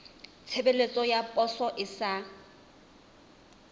tshebeletso ya poso e sa